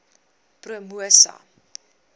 promosa